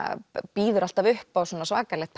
býður alltaf upp á svona svakalegt